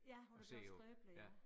Ja hun er blevet skrøbelig ja